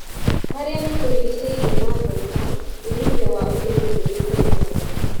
Marĩa matũrigicĩirie mathũka, umithio wa ũrĩmi nĩũikurulkaga